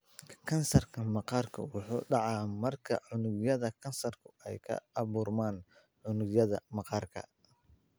Kansarka maqaarku wuxuu dhacaa marka unugyada kansarku ay ka abuurmaan unugyada maqaarka.